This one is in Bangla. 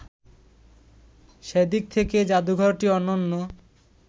সেদিক থেকে জাদুঘরটি অনন্য